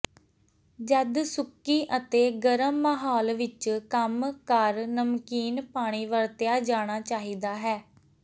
ਜਦ ਸੁੱਕੀ ਅਤੇ ਗਰਮ ਮਾਹੌਲ ਵਿੱਚ ਕੰਮ ਕਰ ਨਮਕੀਨ ਪਾਣੀ ਵਰਤਿਆ ਜਾਣਾ ਚਾਹੀਦਾ ਹੈ